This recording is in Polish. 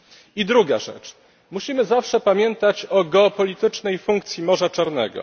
I druga rzecz musimy zawsze pamiętać o geopolitycznej funkcji Morza Czarnego.